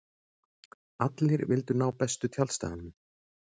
Allir vildu ná bestu tjaldstæðunum.